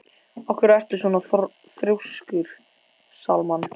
Af hverju ertu svona þrjóskur, Salmann?